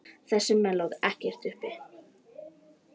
Þessir menn láti ekkert uppi.